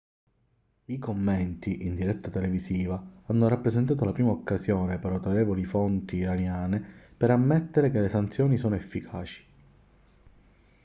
i commenti in diretta televisiva hanno rappresentato la prima occasione per autorevoli fonti iraniane per ammettere che le sanzioni sono efficaci